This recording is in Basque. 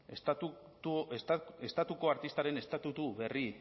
estatuko artistaren estatutu berri